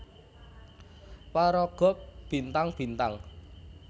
Paraga Bintang Bintang